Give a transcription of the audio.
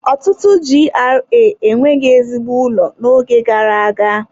Ọtụtụ GRA enweghị ezigbo ụlọ n'oge gara aga.